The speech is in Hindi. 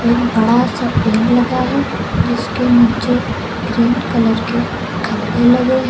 एक बड़ा सा पेड़ लगा है जिसके नीचे ग्रीन कलर के खंबें लगे --